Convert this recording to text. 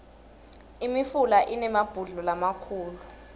imifula inemabhudlo lamakhulu